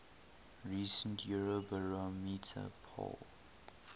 recent eurobarometer poll